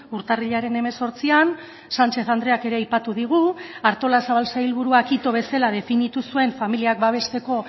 urtarrilaren hemezortzian sanchez andreak ere aipatu digu artolazabal sailburuak ito bezala definitu zuen familiak babesteko